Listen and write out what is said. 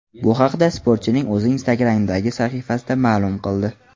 Bu haqda sportchining o‘zi Instagram’dagi sahifasida ma’lum qildi .